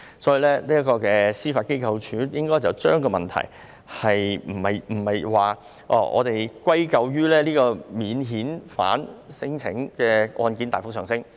所以，司法機構不應該將問題歸咎於免遣返聲請案件大幅上升。